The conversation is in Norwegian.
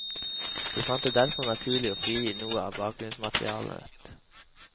Vi fant det derfor naturlig å frigi noe av bakgrunnsmaterialet.